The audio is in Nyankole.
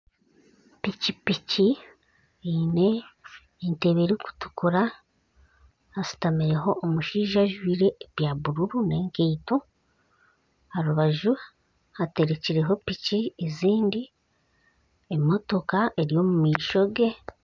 Piki piki eine entebe erikutukura hasitamireho omushaija ajwire ebya bururu n'enkeito. Aharubaju haterekireho piki ezindi emotoka eri omu maisho ge.